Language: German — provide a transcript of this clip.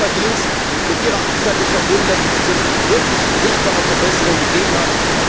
Das ist Ihr Verdienst, mit Ihrer Amtszeit ist verbunden, dass es diese wirklich sichtbare Verbesserung gegeben hat.